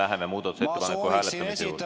Me läheme muudatusettepaneku hääletamise juurde.